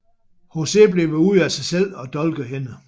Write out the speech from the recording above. José bliver ude af sig selv og dolker hende